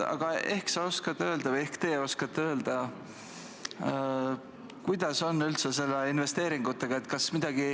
Aga ehk te oskate öelda, kuidas on üldse investeeringutega?